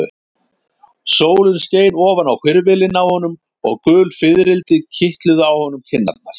Sólin skein ofan á hvirfilinn á honum og gul fiðrildi kitluðu á honum kinnarnar.